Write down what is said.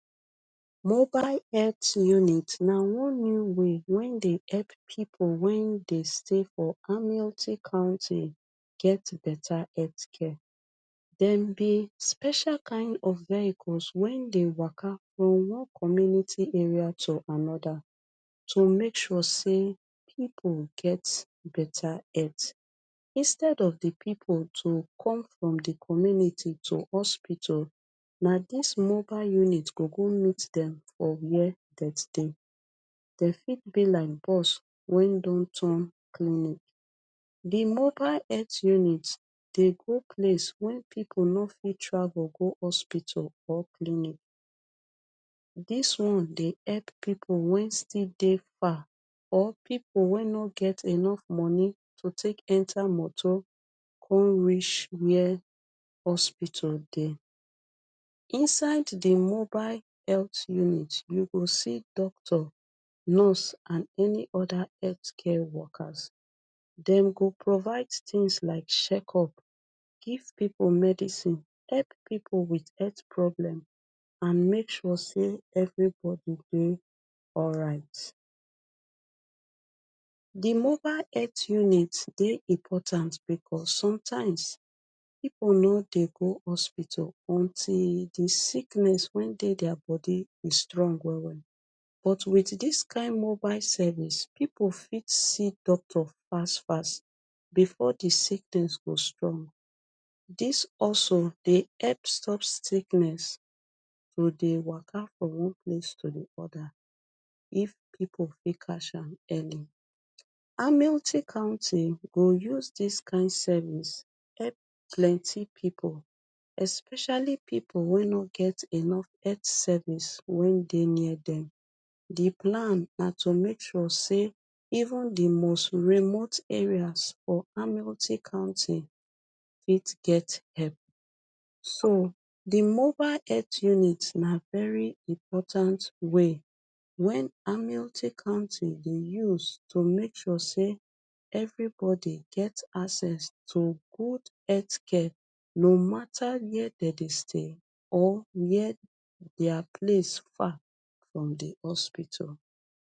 Mobile het unit na one new way wen dey help pipu wen dey stay for county get better het care. Dem be special kain of vehicles wen dey waka for one community area to anoda to make sure say pipu get beta het. Instead of di pipu to come from di community to hospital, na dis mobile unit go go meet dem for where dem stay. Dem fit be like bus wen don turn clinic. Di mobile het unit dey go place wen pipu no fit travel go hospital or clinic. Dis one dey epp pipu wen still dey far or pipu wey no get enough money to take enter moto come reach where hospital dey. Inside di mobile healt unit, you go see doctor, nurse and any oda het care wokas. Dem go provide tins like shekup, give pipu medicine, epp pipu with het problem, and make sure say evribodi dey alright. Di mobile het unit dey important bekos sometimes pipu no dey go hospital until di sickness wen dey dia body e strong well well. But wit dis kain mobile service, pipu fit see doctor fas fas before di sickness go strong. Dis also dey epp stop sickness to dey waka from one place to de oda if pipu fit casham early. county go use dis kain service epp plenty pipu, especially pipu wey no get enough het service wey dey near dem. Di plan na to make sure say even di most remote areas for county fit get hep. So, di mobile het unit na very important way wen county dey use to make sure say evribodi get access to good het care, no mata wey dey dey stay, or where dia place far from di hospital